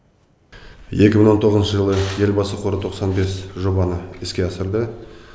екі мың тоғызыншы жылы елбасы қоры тоқсан бес жобаны іске асырды